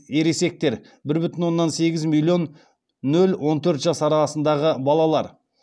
ересектер бір бүтін оннан сегіз миллион нөл он төрт жас арасындағы балалар